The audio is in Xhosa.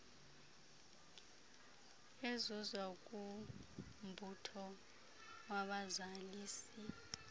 ezuzwa kumbutho wabazalisi